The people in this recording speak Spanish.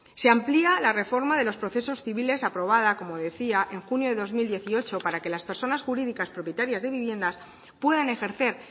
se amplía la reforma de los procesos civiles aprobada como decía en junio dos mil dieciocho para que las personas jurídicas propietarias de viviendas puedan ejercer